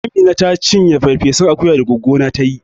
Amina taci ferfesun akuya da goggo na ta yi